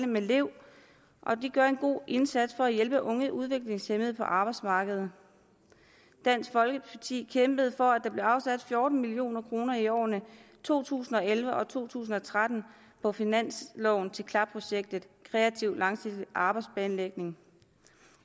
med lev de gør en god indsats for hjælpe unge udviklingshæmmede på arbejdsmarkedet dansk folkeparti kæmpede for at der blev afsat fjorten million kroner i årene to tusind og elleve og to tusind og tretten på finansloven til klap projektet kreativ langsigtet arbejdsplanlægning